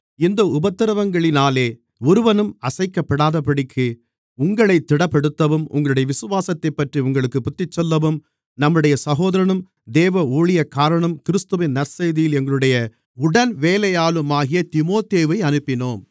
இந்த உபத்திரவங்களினாலே ஒருவனும் அசைக்கப்படாதபடிக்கு உங்களைத் திடப்படுத்தவும் உங்களுடைய விசுவாசத்தைப்பற்றி உங்களுக்குப் புத்திசொல்லவும் நம்முடைய சகோதரனும் தேவ ஊழியக்காரனும் கிறிஸ்துவின் நற்செய்தியில் எங்களுடைய உடன்வேலையாளுமாகிய தீமோத்தேயுவை அனுப்பினோம்